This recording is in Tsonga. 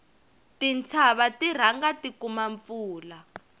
tintshava ti rhanga ti kuma mpfula